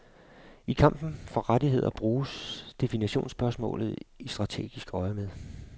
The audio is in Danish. I kampen for rettigheder bruges definitionsspørgsmålet i strategisk øjemed.